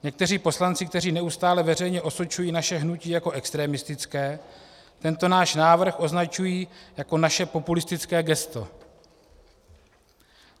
Někteří poslanci, kteří neustále veřejně osočují naše hnutí jako extremistické, tento náš návrh označují jako naše populistické gesto.